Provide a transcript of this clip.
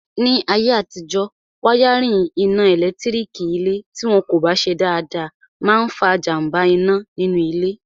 Ní ayé àtijọ́, wáyárìn iná ẹ̀lẹ́tírík ilé tí wọn kò bá ṣe dáadáa máa n fa jàmbá iná nínú ilé